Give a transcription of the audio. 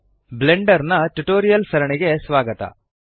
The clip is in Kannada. ಬ್ಲೆಂಡರ್ ನ ಟ್ಯುಟೋರಿಯಲ್ಸ್ ಸರಣಿಗೆ ಸ್ವಾಗತ